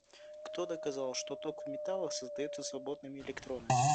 кто доказал что ток в металлах создается свободными электронами